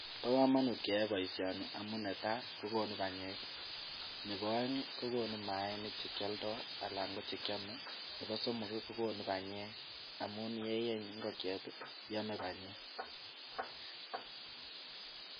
Bo komonut keyoe boisioni amun netai: kokonu banyek, nebo oeng kogunu maainik che kialdo anan ko che kyome, nebo somok kogonu banyek amun ye yeny ingokiet iame banyek.